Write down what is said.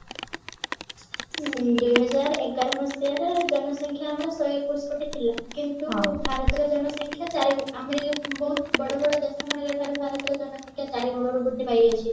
ଉଁ ଦୁଇ ହଜାର ଏଗାର ମସିହାରେ ଜନସଂଖ୍ୟା ଆମର ଶହେ ଏକୋଇଶି କୋଟି ଥିଲା କିନ୍ତୁ ଭାରତର ଜନସଂଖ୍ୟା ଚାରି ଆମର ବହୁତ ବଡ ବଡ ଦେଶ ମାନଙ୍କ ଠାରୁ ଭାରତର ଜନସଂଖ୍ୟା ଚାରିଗୁଣରେ ବୃଦ୍ଧି ପାଇଯାଇଛି